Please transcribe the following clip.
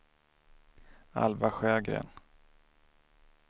Alva Sjögren